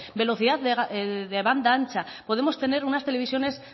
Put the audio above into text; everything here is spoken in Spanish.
velocidad de banda ancha podemos tener unas televisiones